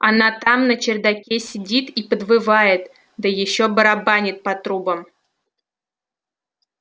она там на чердаке сидит и подвывает да ещё барабанит по трубам